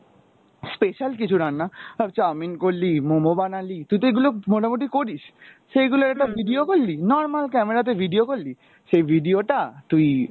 special কিছু রান্ন, আহ chow mein করলি momo বানালি, তুই তো এগুলো মোটামুটি করিস, সেইগুলোর একটা video করলি, normal camera তে video করলি সেই video টা তুই